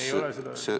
Ei ole seda öelnud.